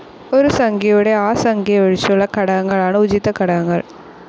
ഒരു സംഖ്യയുടെ ആ സംഖ്യയൊഴിച്ചുള്ള ഘടകങ്ങളാണ് ഉചിത ഘടകങ്ങൾ.